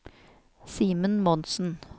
Simen Monsen